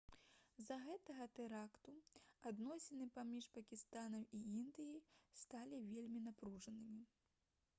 з-за гэтага тэракту адносіны паміж пакістанам і індыяй сталі вельмі напружанымі